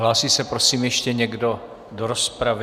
Hlásí se prosím ještě někdo do rozpravy?